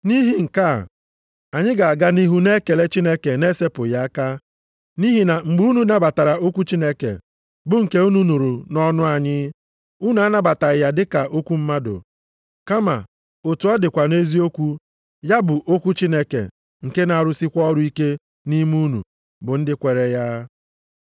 Nʼihi nke a, anyị ga-aga nʼihu na-ekele Chineke na-esepụghị aka, nʼihi na mgbe unu nabatara okwu Chineke, bụ nke unu nụrụ nʼọnụ anyị, unu anabataghị ya dị ka okwu mmadụ, kama otu ọ dịkwa nʼeziokwu, ya bụ okwu Chineke, nke na-arụsikwa + 2:13 Okwu a na-arụsị ọrụ ike site nʼịgbanwe ndụ ndị mmadụ. ọrụ ike nʼime unu bụ ndị kweere ya.